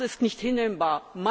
Das ist nicht hinnehmbar!